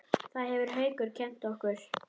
Það hefur Haukur kennt okkur.